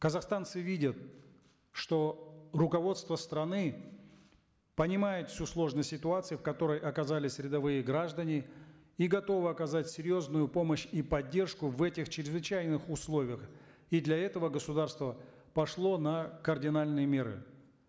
казахстанцы видят что руководство страны понимает всю сложность ситуации в которой оказались рядовые граждане и готовы оказать серьезную помощь и поддержку в этих чрезвычайных условиях и для этого государство пошло на кардинальные меры